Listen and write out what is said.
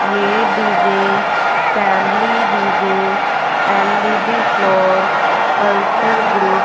ये DJ family DJ LED floor culture group --